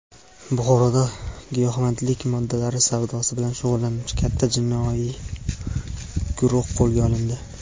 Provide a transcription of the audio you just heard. Buxoroda giyohvandlik moddalar savdosi bilan shug‘ullanuvchi katta jinoiy guruh qo‘lga olindi.